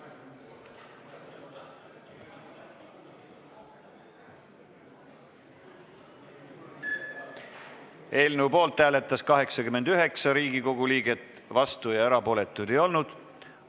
Hääletustulemused Eelnõu poolt hääletas 89 Riigikogu liiget, vastu ja erapooletuid ei olnud.